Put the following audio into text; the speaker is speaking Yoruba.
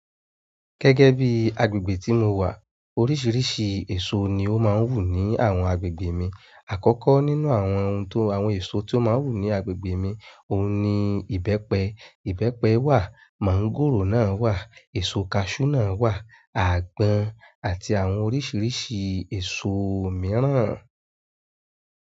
Gẹ́gẹ́ bí agbègbè tí mo wà, oríṣiríṣi èso ni ó máa ń wù ní àwọn agbègbè mi. Àkọ́kọ́ nínú àwọn ohun àwọn èso tí ó máa ń wù ní agbègbè mi, ohun ni ìbẹ́pẹ. Ìbẹ́pẹ wà, mọ̀ngòrò náà wà, èso kaṣú náà wà, àgbọn àti àwọn oríṣiríṣi èso mìíràn.